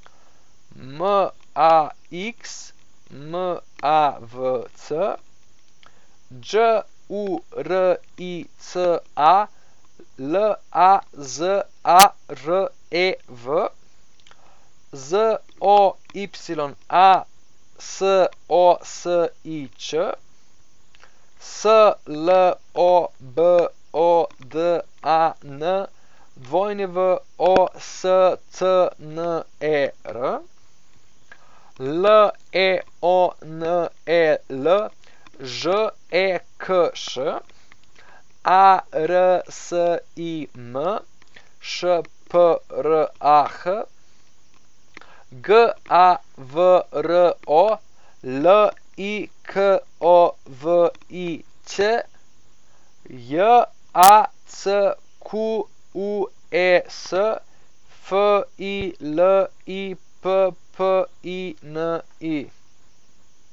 Max Mavc, Đurica Lazarev, Zoya Sosič, Slobodan Wostner, Leonel Žekš, Arsim Šprah, Gavro Liković, Jacques Filippini.